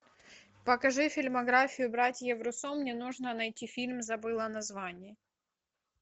покажи фильмографию братьев руссо мне нужно найти фильм забыла название